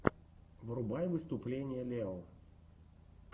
врубай выступление лео